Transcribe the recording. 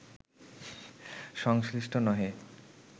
সংশ্লিষ্ট নহে